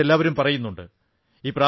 അതെക്കുറിച്ച് എല്ലാവരും പറയുന്നുണ്ട്